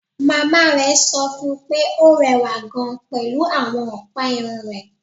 Màmá rẹ̀ sọ fún un pé ó rẹwà gan-an pẹ̀lú àwọn ọ̀pá irun rẹ̀